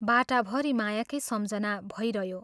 बाटाभरि मायाकै सम्झना भइरह्यो।